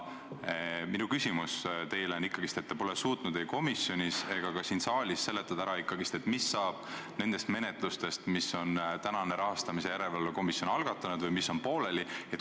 Aga minu küsimus teile on selle kohta, et te pole suutnud ei komisjonis ega ka siin saalis ikkagi ära seletada, mis saab nendest menetlustest, mis on rahastamise järelevalve komisjon algatanud ja mis on pooleli.